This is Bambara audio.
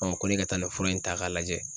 ko ne ka taa nin fura in ta k'a lajɛ